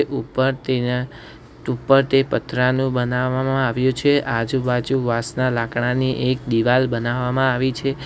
ઉપર તેના તુપરથી પતરાનું બનાવામાં આવ્યું છે આજુબાજુ વાંસના લાકડાની એક દિવાલ બનાવામાં આવી છે.